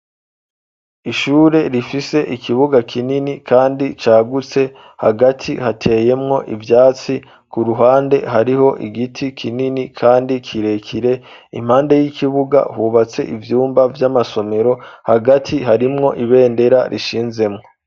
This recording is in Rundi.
ishure rifise ikibuga kinini kandi cagutse hagati hateyemwo ivyatsi k,uruhande hariho igiti kinini kandi kirekire impande y'ikibuga hubatse ivyumba vy'amasomero hagati harimwo ibendera rishinzemwo